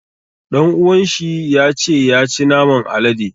Ɗan uwan shi ya ce ya ci naman alade.